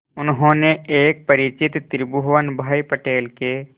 उन्होंने एक परिचित त्रिभुवन भाई पटेल के